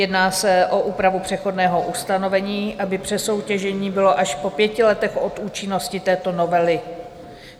Jedná se o úpravu přechodného ustanovení, aby přesoutěžení bylo až po pěti letech od účinnosti této novely.